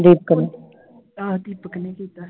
ਆਹੋ ਦੀਪਕ ਨੇ ਕੀਤਾ ਸੀ I